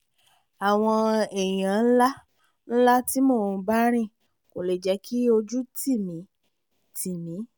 àwọn èèyàn ńlá-ńlá tí mò ń bá rìn kò lè jẹ́ kí ojú tì mí tì mí